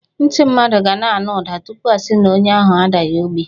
Ntị mmadụ ga na-anụ ụda tupu asi na onye ahụ adaghị ogbi.